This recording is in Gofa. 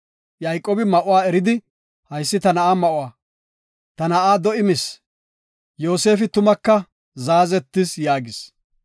Yayqoobi ma7uwa eridi, “Haysi ta na7aa ma7uwa; ta na7aa do7i mis. Yoosefi tumaka zaazetis” yaagis.